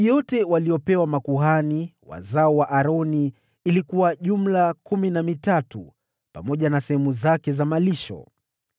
Miji yote waliyopewa makuhani, wazao wa Aroni, ilikuwa kumi na mitatu, pamoja na sehemu zake za malisho.